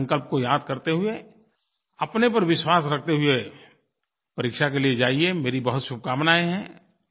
अपने संकल्प को याद करते हुए अपने पर विश्वास रखते हुए परीक्षा के लिये जाइए मेरी बहुत शुभकामनायें हैं